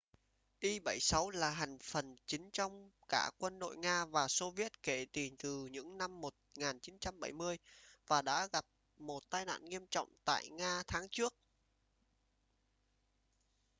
il-76 là hành phần chính trong cả quân đội nga và xô viết kể từ những năm 1970 và đã gặp một tai nạn nghiêm trọng tại nga tháng trước